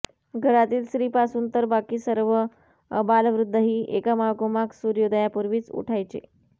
घरातील स्त्रीपासून तर बाकी सर्व आबालवृद्धही एकामागोमाग सूर्योदयापूर्वीच उठायचे